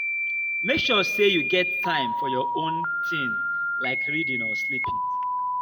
make sure sey you get time for your own tin like reading or sleeping.